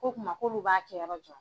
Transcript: Ko o kuma k'olu b'a yɔrɔ